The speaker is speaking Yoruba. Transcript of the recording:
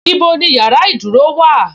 Ibo ni yàrá ìdúró wà:?